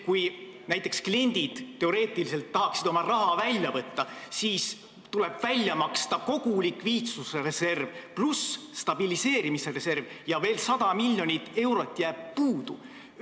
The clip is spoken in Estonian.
Kui näiteks kliendid tahaksid teoreetiliselt oma raha välja võtta, siis tuleb välja maksta kogu likviidsusreserv ja stabiliseerimisreserv ning 100 miljonit eurot jääb veel puudu.